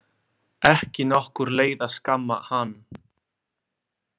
Ekki nokkur leið að skamma hann.